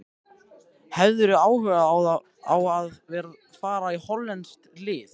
Hefðirðu áhuga á að fara í hollenskt lið?